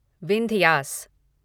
Vindhyas